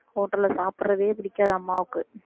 hotel ல சாப்பிடுறதே பிடிக்காது அம்மாவுக்கு